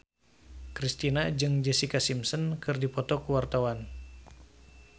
Kristina jeung Jessica Simpson keur dipoto ku wartawan